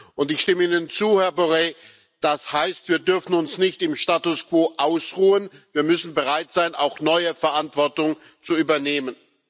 Und ich stimme Ihnen zu, Herr Borrell, das heißt Wir dürfen uns nicht im Status Quo ausruhen, wir müssen bereit sein, auch neue Verantwortung zu übernehmen.